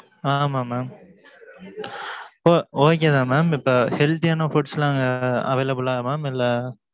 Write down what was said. அஹ் ஆமா, mam oh okay தான், mam. இப்ப, healthy யான, foods லாம், available ஆ, mam இல்ல,